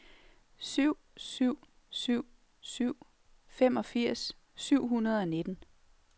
syv syv syv syv femogfirs syv hundrede og nitten